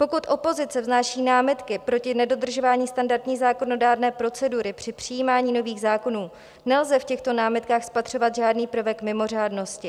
Pokud opozice vznáší námitky proti nedodržování standardní zákonodárné procedury při přijímání nových zákonů, nelze v těchto námitkách spatřovat žádný prvek mimořádnosti.